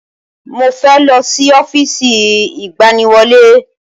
Mo fẹ́ lọ sí ọ́fíìsì ìgbaniwọlé